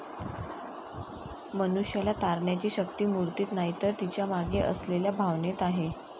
मनुष्याला तारण्याची शक्ती मूर्तीत नाही तर तिच्या मागे असलेल्या भावनेत आहे